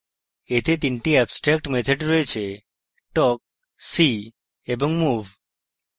এতে তিনটি abstract methods রয়েছে talk see এবং move